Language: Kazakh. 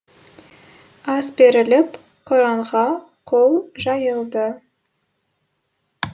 ас беріліп құранға қол жайылды